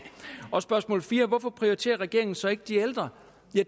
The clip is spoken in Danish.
og spørgsmål fire hvorfor prioriterer regeringen så ikke de ældre